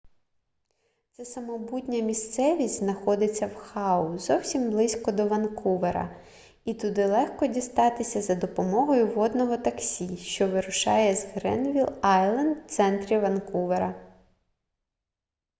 ця самобутня місцевість знаходиться в хау зовсім близько до ванкувера і туди легко дістатися за допомогою водного таксі що вирушає з гренвіл айленд в центрі ванкувера